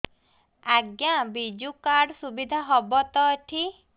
ଆଜ୍ଞା ବିଜୁ କାର୍ଡ ସୁବିଧା ହବ ତ ଏଠି